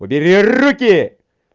убери руки